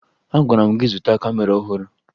Agwara m gị zụta kamera ọhụrụ!